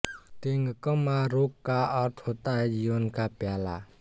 तेंगकम मारोक का अर्थ होता है जीवन का प्याला